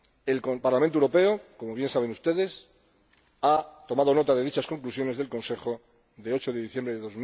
El Parlamento Europeo, como bien saben ustedes, ha tomado nota de dichas conclusiones del Consejo de 8 de diciembre de